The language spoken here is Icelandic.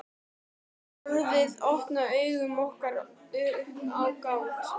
Orðið opnaði augu okkar upp á gátt.